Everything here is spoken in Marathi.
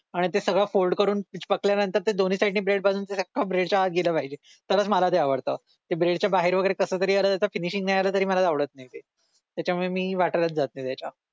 आणि ते सगळं फोल्ड करून पकडल्यानंतर ते दोन्ही ब्रेड बांधून ते अख्ख ब्रेडच्या आत गेल पाहिजे तरच मला ते आवडतं ते ब्रेड च्या बाहेर वैगरे आल्यावर कसं तरी त्याच फिनिशिंग नाही आलं तरी मला आवडत नाही त्याच्यामुळे मी वाटेलाच जात नाही त्याच्या